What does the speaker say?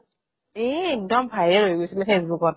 এ একদম viral হৈ গৈছিলে ফেচবুকত